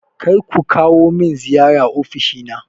Kar ku kawo min ziyara ofishina!